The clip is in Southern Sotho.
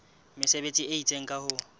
mesebetsi e itseng ka ho